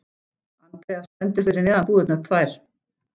Andrea stendur fyrir neðan búðirnar tvær.